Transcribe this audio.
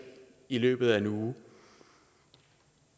i løbet af en uge